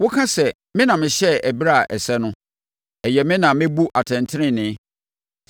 Woka sɛ, “Me na mehyɛɛ ɛberɛ a ɛsɛ no; ɛyɛ me na mebu atɛntenenee.